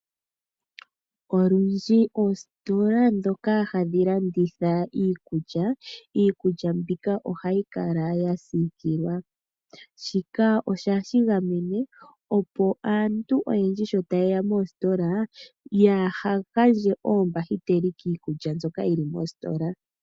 Olundji oositola ndhoka hadhi landitha iikulya, iikulya mbika ohayi kala yagamenwa. Shika ohashi gamene opo aantu oyendji tayeya moositola , yaaha gandje oombahiteli kiikulya mbyoka yili moositola.